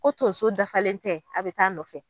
Ko tonso dafalen tɛ a bɛ taa nɔfɛ.